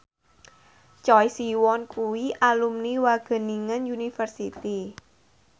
Choi Siwon kuwi alumni Wageningen University